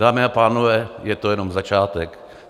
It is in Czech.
Dámy a pánové, je to jenom začátek!